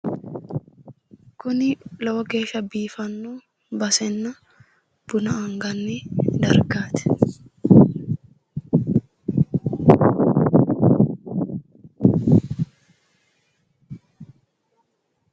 kuni lowo geeshsha biiffanno basenna buna anganni dargaati.